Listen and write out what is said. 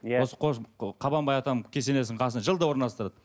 иә осы қабанбай атам кесенесінің қасына жылда орналастырады